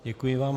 Děkuji vám.